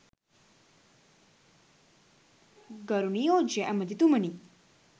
ගරු නියෝජ්‍ය ඇමතිතුමනි